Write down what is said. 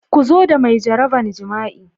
Ku zo da mai jaraban jima'i.